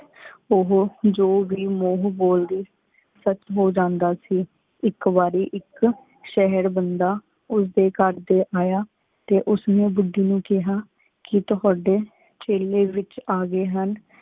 ਉਜੋ ਵੇ ਮੁਹਉਣ ਬੋਲਦੀ ਸੀ ਬਸ ਹੂ ਜੰਦਾ ਸੀ ਏਕ ਵਾਰੀ ਏਕ ਸੇਹੇਰ ਬੰਦਾ ਉਸ ਡੀ ਕਰ ਯਾ ਟੀ ਉਸ ਨੀ ਬੁੜੀ ਨੂ ਕੇਹਾ ਕੀ ਤੁਹਾਡੀ ਖੀਰੀ ਵੇਚ ਅਗੀ ਹੁਣ